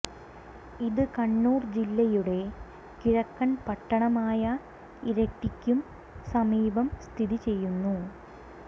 ഇത് കണ്ണുർ ജില്ലയുടെ കിഴക്കൻ പട്ടണമായ ഇരിട്ടിക്കു സമീപം സ്ഥിതി ചെയ്യുന്നു